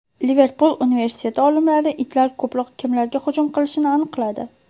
Liverpul universiteti olimlari itlar ko‘proq kimlarga hujum qilishini aniqladi.